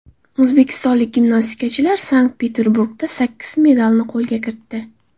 O‘zbekistonlik gimnastikachilar Sankt-Peterburgda sakkiz medalni qo‘lga kiritdi.